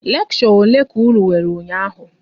Leksho ole ka unu nwere ụnyaahụ?